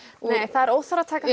það er óþarfi að taka